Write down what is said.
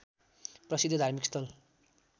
प्रसिद्ध धार्मिक स्थल